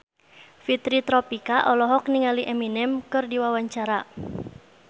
Fitri Tropika olohok ningali Eminem keur diwawancara